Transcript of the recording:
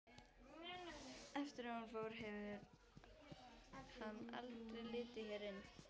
Eftir að hún fór hefur hann aldrei litið hér inn.